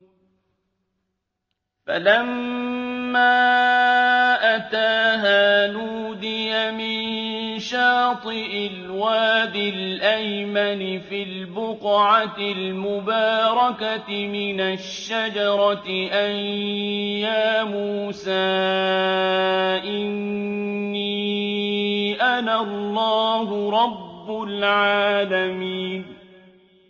فَلَمَّا أَتَاهَا نُودِيَ مِن شَاطِئِ الْوَادِ الْأَيْمَنِ فِي الْبُقْعَةِ الْمُبَارَكَةِ مِنَ الشَّجَرَةِ أَن يَا مُوسَىٰ إِنِّي أَنَا اللَّهُ رَبُّ الْعَالَمِينَ